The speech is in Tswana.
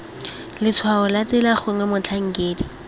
letshwao la tsela gongwe motlhankedi